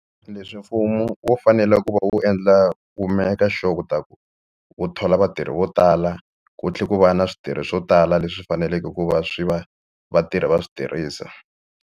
Leswi mfumo wu fanele ku va wu endla ku make sure ku ta ku wu thola vatirhi vo tala ku tlhela ku va na switirhi swo tala leswi faneleke ku va swi va va tirha va swi tirhisa.